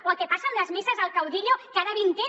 o el que passa amb les misses al caudillo cada vint n